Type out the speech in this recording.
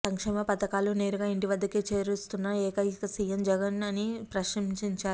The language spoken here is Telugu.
సంక్షేమ పథకాలు నేరుగా ఇంటి వద్దకే చేరవేస్తున్న ఏకైక సీఎం వైఎస్ జగన్ అని ప్రశంసించారు